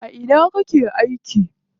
A ina kake aiki?